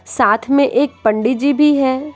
साथ में एक पंडित जी भी है।